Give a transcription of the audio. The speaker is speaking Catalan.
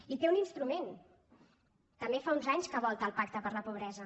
i té un instru·ment també fa uns anys que volta el pacte contra la pobresa